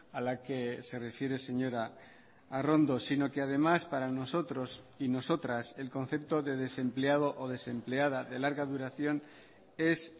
a la que se refiere señora arrondo sino que además para nosotros y nosotras el concepto de desempleado o desempleada de larga duración es